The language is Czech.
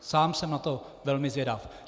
Sám jsem na to velmi zvědav.